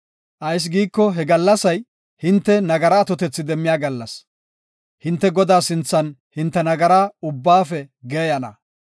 Ayis giiko he gallasay hinte nagara atotethi demmiya gallas; hinte Godaa sinthan hinte nagara ubbaafe geeyana.